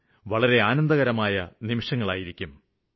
അതെനിക്ക് വളരെ ആനന്ദപ്രദമായ നിമിഷങ്ങളായിരിക്കും